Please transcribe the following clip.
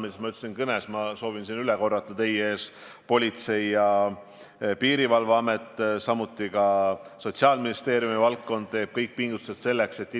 Nagu ma oma kõnes ütlesin ja kordan veel kord: Politsei- ja Piirivalveamet, samuti Sotsiaalministeeriumi haldusala teeb kõik pingutused selleks, et